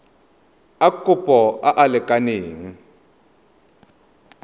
a kopo a a lekaneng